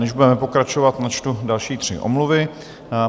Než budeme pokračovat, načtu další tři omluvy.